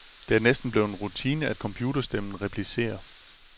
Det er næsten blevet en rutine, at computerstemmen replicerer.